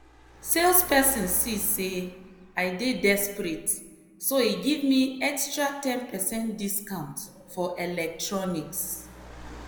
salesperson see say i dey desperate so e give me extra ten percent discount for electronics.